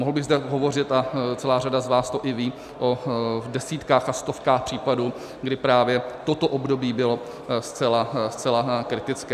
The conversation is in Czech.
Mohl bych zde hovořit - a celá řada z vás to i ví - o desítkách a stovkách případů, kdy právě toto období bylo zcela kritické.